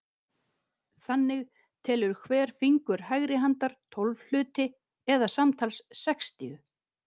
Þannig telur hver fingur hægri handar tólf hluti eða samtals sextíu.